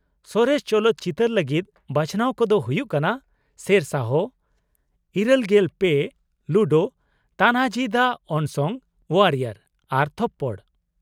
ᱥᱚᱨᱮᱥ ᱪᱚᱞᱚᱛ ᱪᱤᱛᱟᱹᱨ ᱞᱟ.ᱜᱤᱫ ᱵᱟᱪᱷᱱᱟᱣ ᱠᱚᱫᱚ ᱦᱩᱭᱩᱜ ᱠᱟᱱᱟ ᱥᱮᱨᱥᱟᱦᱚ,᱘᱓, ᱞᱩᱰᱳ, ᱛᱟᱱᱦᱟᱡᱤ-ᱫᱟ ᱟᱱᱥᱟᱝ ᱳᱣᱟᱨᱤᱭᱳᱨ, ᱟᱨ ᱛᱷᱚᱯᱯᱚᱲ ᱾